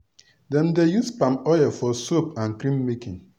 dem dey use palm oil for soap and cream making.